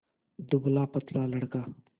दुबलापतला लड़का